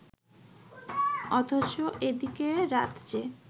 অথচ এদিকে রাত যে